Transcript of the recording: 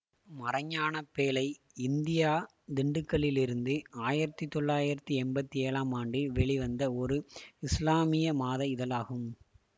மறைஞானப்பேழை India திண்டுக்கலிலிருந்து ஆயிரத்தி தொள்ளாயிரத்தி எம்பத்தி ஏழாம் ஆண்டில் வெளிவந்த ஒரு இசுலாமிய மாத இதழாகும்